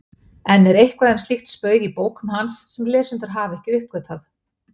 Enn er eitthvað um slíkt spaug í bókum hans sem lesendur hafa ekki uppgötvað.